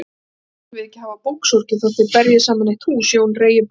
Þér þurfið ekki að hafa búksorgir þótt þér berjið saman eitt hús, Jón Reginbaldsson.